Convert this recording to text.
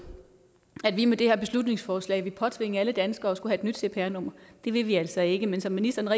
at vi med det her beslutningsforslag vil påtvinge alle danskere at skulle have et nyt cpr nummer det vil vi altså ikke men som ministeren